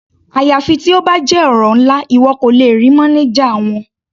Àyàfi tí ó bá jẹ́ ọ̀rọ̀ ńlá, ìwọ kò lè rí mánájà wọn.